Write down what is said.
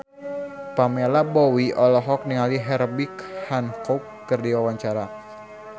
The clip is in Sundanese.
Pamela Bowie olohok ningali Herbie Hancock keur diwawancara